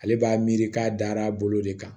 Ale b'a miiri k'a dar'a bolo de kan